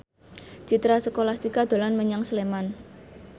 Citra Scholastika dolan menyang Sleman